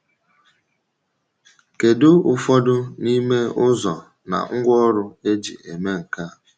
Kedu ụfọdụ n’ime ụzọ na ngwaọrụ e ji eme nke a?